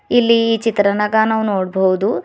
ಇಲ್ಲಿ ಈ ಚಿತ್ರನಾಗ ನಾವು ನೋಡ್ಬೊದು--